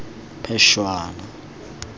phešwana